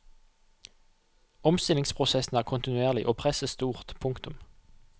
Omstillingsprosessen er kontinuerlig og presset stort. punktum